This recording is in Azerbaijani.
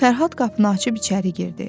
Fərhad qapını açıb içəri girdi.